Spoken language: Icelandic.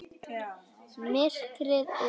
Myrkrið og ljósið.